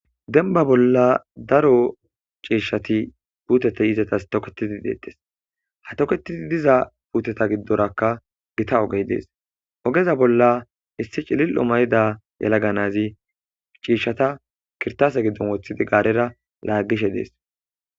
Dembba bolla daro ciishshati puuteti izetas toketidi deettes. Ha tokettidi diza puuteta giddorakka gita ogey dees. Ogeza bolla issi cililo ma'ida yelaga naati ciishshata kirtase giddon woththidi gaarera laaggishe de'es.